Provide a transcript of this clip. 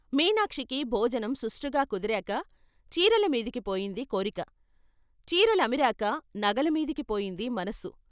మీనాక్షికి భోజనం సుష్టుగా కుదిరాక చీరల మీదికి పోయింది కోరిక, చీరలు అమిరాక నగల మీదికి పోయింది మనసు.